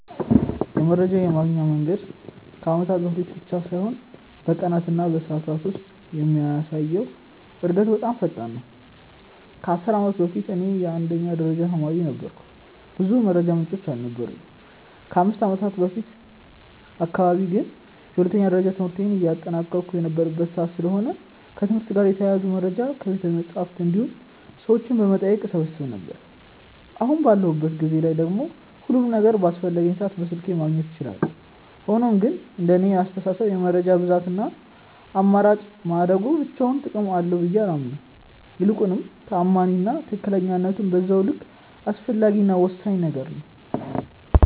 የመረጃ የማግኛ መንገድ ከአመታት በፊት ብቻ ሳይሆን በቀናት እና በሰዓታት ውስጥ የሚያሳየው እድገት በጣም ፈጣን ነው። ከ10 አመት በፊት እኔ የአንደኛ ደረጃ ተማሪ ነበርኩ ብዙ የመረጃ ምንጮች አልነበሩኝም። ከ5ከአመት በፊት አካባቢ ግን የሁለተኛ ደረጃ ትምህርቴን እያጠናቀቅሁ የነበረበት ሰዓት ስለሆነ ከትምህርት ጋር የተያያዙ መረጃዎችን ከቤተመፅሀፍት እንዲሁም ሰዎችን በመጠየቅ እሰበስብ ነበር። አሁን ባለሁበት ጊዜ ላይ ደግሞ ሁሉም ነገር በአስፈለገኝ ሰዓት በስልክ ማግኘት እችላለሁ። ሆኖም ግን እንደኔ አስተሳሰብ የመረጃ ብዛት እና አማራጭ ማደጉ ብቻውን ጥቅም አለው ብዬ አላምንም። ይልቁንም ተአማኒ እና ትክክለኝነቱም በዛው ልክ አስፈላጊ እና ወሳኝ ነገር ነው።